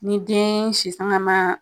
Ni den si sanga ma